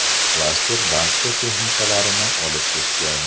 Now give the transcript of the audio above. Klaster barcha texnikalarini olib ketgan.